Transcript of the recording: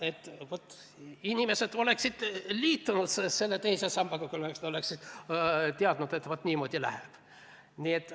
Et jah, inimesed oleksid liitunud selle teise sambaga, kui oleksid teadnud, et niimoodi läheb.